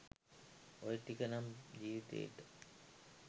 ඔය ටික නම් ජිවිතේට